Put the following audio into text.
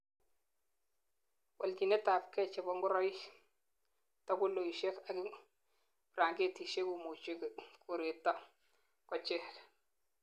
walchinetabkei chebo ngoroik, takuloishek ak ibrangetisiek komuche koreto kochek